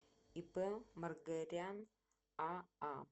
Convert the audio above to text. ип маргарян аа